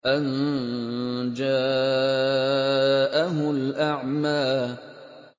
أَن جَاءَهُ الْأَعْمَىٰ